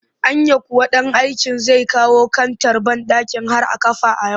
Anya kuwa ɗan aiken zai kawo kantar banɗakin har a kafa a yau